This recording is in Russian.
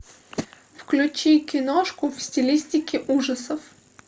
включи киношку в стилистике ужасов